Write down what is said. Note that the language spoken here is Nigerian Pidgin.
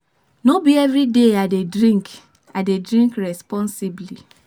No be everyday I dey drink, I dey drink responsibly.